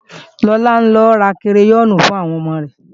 Lọlá ń lọ ra kireyọ́ọ̀nì fún àwọn ọmọ rẹ